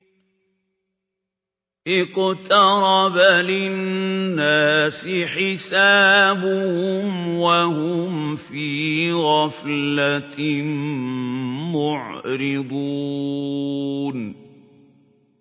اقْتَرَبَ لِلنَّاسِ حِسَابُهُمْ وَهُمْ فِي غَفْلَةٍ مُّعْرِضُونَ